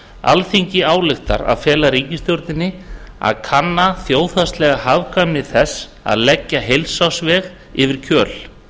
alþingi ályktar að fela ríkisstjórninni að kanna þjóðhagslega hagkvæmni þess að leggja heilsársveg yfir kjöl